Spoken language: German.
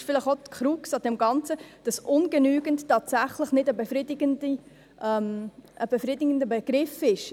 Das ist vielleicht auch die Krux an dem Ganzen, dass «ungenügend» aus unserer Sicht tatsächlich nicht ein befriedigender Begriff ist.